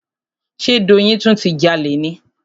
Ṣe Doyin tún ti jalè ni?